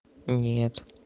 нет